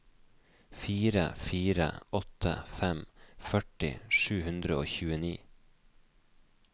fire fire åtte fem førti sju hundre og tjueni